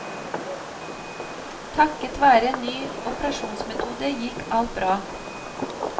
Takket være en ny operasjonsmetode gikk alt bra.